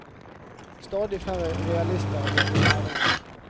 Stadig færre realister vil bli lærere.